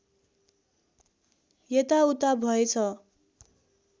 यता उता भएछ